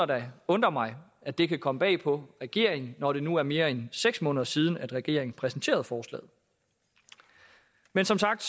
da undrer mig at det kan komme bag på regeringen når det nu er mere end seks måneder siden at regeringen præsenterede forslaget men som sagt